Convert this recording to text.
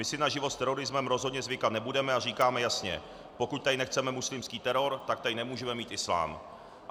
My si na život s terorismem rozhodně zvykat nebudeme a říkáme jasně: Pokud tady nechceme muslimský teror, tak tady nemůžeme mít islám.